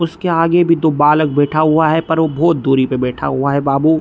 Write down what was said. उसके आगे भी दो बालक बैठा हुआ है लेकिन बहुत दूरी पे बैठा है बाबू।